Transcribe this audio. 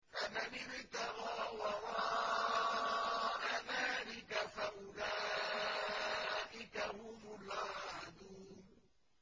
فَمَنِ ابْتَغَىٰ وَرَاءَ ذَٰلِكَ فَأُولَٰئِكَ هُمُ الْعَادُونَ